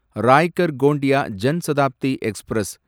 Raigad Gondia Jan Shatabdi express